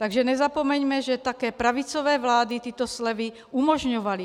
Takže nezapomeňme, že také pravicové vlády tyto slevy umožňovaly.